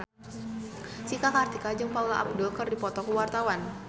Cika Kartika jeung Paula Abdul keur dipoto ku wartawan